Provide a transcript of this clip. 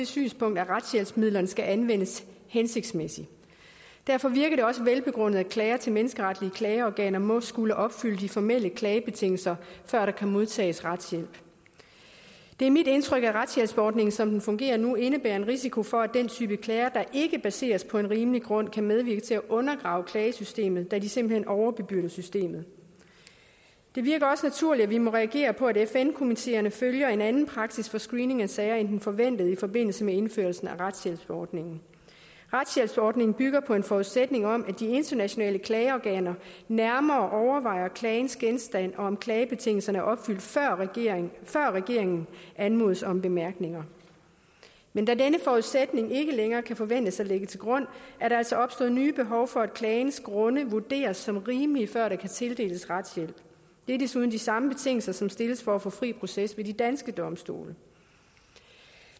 synspunkt at retshjælpsmidlerne skal anvendes hensigtsmæssigt derfor virker det også velbegrundet at klager til menneskeretlige klageorganer må skulle opfylde de formelle klagebetingelser før der kan modtages retshjælp det er mit indtryk at retshjælpsforordningen som den fungerer nu indebærer en risiko for at den type klager der ikke baseres på en rimelig grund kan medvirke til at undergrave klagesystemet da de simpelt hen overbebyrder systemet det virker også naturligt at vi må reagere på at fn komiteerne følger en anden praksis for screening af sager end den forventede i forbindelse med indførsel af retshjælpsforordningen retshjælpsforordningen bygger på en forudsætning om at de internationale klageorganer nærmere overvejer klagens genstand og om klagebetingelserne er opfyldt før regeringen før regeringen anmodes om bemærkninger men da denne forudsætning ikke længere kan forventes at ligge til grund er der altså opstået nye behov for at klagens grunde vurderes som rimelige før der kan tildeles retshjælp det er desuden de samme betingelser som stilles for at få fri proces ved de danske domstole